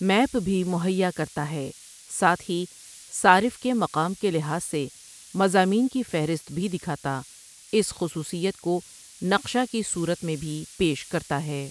Map بھی مہیا کرتا ہے ساتھ ہی صارف کے مقام کے لحاظ سے مضامین کی فہرست بھی دکھاتا اس خصوصیت کو نقشہ کی صورت میں بھی پیش کرتا ہے ۔